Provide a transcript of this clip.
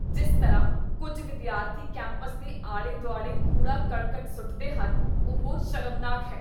ਜਿਸ ਤਰ੍ਹਾਂ ਕੁੱਝ ਵਿਦਿਆਰਥੀ ਕੈਂਪਸ ਦੇ ਆਲੇ ਦੁਆਲੇ ਕੂੜਾ ਕਰਕਟ ਸੁੱਟਦੇ ਹਨ, ਉਹ ਸ਼ਰਮਨਾਕ ਹੈ